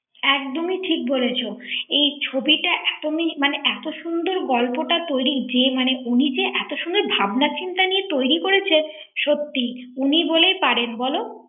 ঽ একদমই ঠিক বলেছ এই ছবিটা এত মিষ্টি এত সুন্দর গল্পটা তৈরী যে মানে উনি যে এত সুন্দর ভাবনা চিন্তা নিয়ে তৈরী করেছেন সত্যিই উনি বলেই পারেন বলো ৷